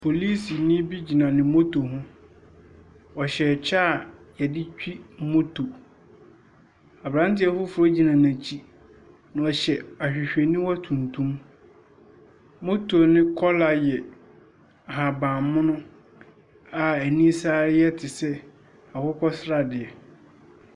Polisini bi gyina ne moto ho. Ɔhyɛ kyɛ a wɔde twi moto. Aberanteɛ foforɔ gyina n'akyi. Ɔhyɛ ahwehwɛniwa tuntum. Moto no kɔla yɛ ahaban mono a ani san yɛ te sɛ akokɔ sradeɛ.